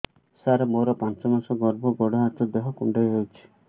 ସାର ମୋର ପାଞ୍ଚ ମାସ ଗର୍ଭ ଗୋଡ ହାତ ଦେହ କୁଣ୍ଡେଇ ହେଉଛି